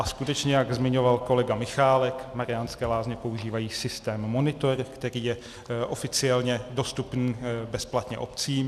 A skutečně, jak zmiňoval kolega Michálek, Mariánské Lázně používají systém Monitor, který je oficiálně dostupný bezplatně obcím.